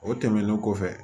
O tɛmɛnen kɔfɛ